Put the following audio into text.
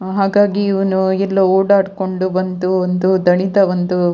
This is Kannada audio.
ಹಾಗಾಗಿ ಇವನು ಎಲ್ಲೊ ಓಡಾಡ್ಕೊಂಡು ಬಂದು ಒಂದು ದಣಿದ ಒಂದು --